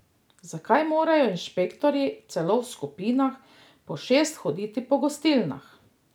Zakaj morajo inšpektorji celo v skupinah po šest hoditi po gostilnah?